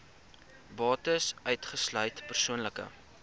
bates uitgesluit persoonlike